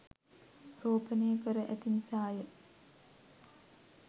රෝපණය කර ඇති නිසා ය.